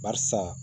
Barisa